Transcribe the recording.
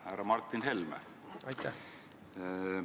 Härra Martin Helme!